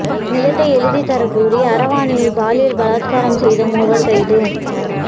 நிலத்தை எழுதித் தரக் கூறி அரவாணியை பாலியல் பலாத்காரம் செய்த மூவர் கைது